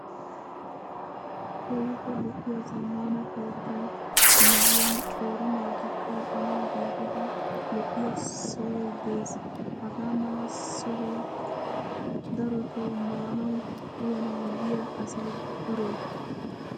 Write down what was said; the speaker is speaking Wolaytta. Keehippe lo'iyaa zammaana keettaa miyyiyaan qeeri naati kaa''anawu giigida lo'iyaa sohayi des. Hagaa mala sohaa darotoo maanawu uyanawu yiyaa asayi duree.